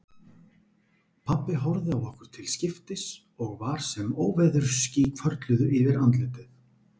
Pabbi horfði á okkur til skiptis og var sem óveðursský hvörfluðu yfir andlitið.